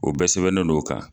O bɛɛ sɛbɛnnen don o kan